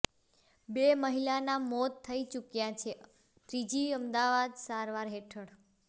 બે મહિલાના મોત થઇ ચૂક્યાં છે ત્રીજી અમદાવાદ સારવાર હેઠળ